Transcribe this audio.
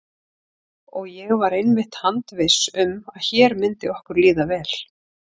Og ég var einmitt handviss um að hér myndi okkur líða vel.